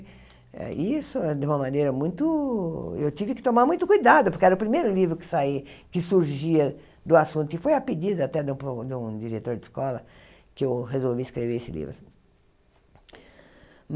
Eh e isso, de uma maneira muito... Eu tive que tomar muito cuidado, porque era o primeiro livro que saía, que surgia do assunto, e foi a pedido até de um pro de um diretor de escola que eu resolvi escrever esse livro.